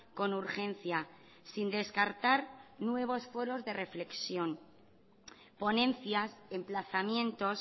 con urgencia sin descartar nuevos foros de reflexión ponencias emplazamientos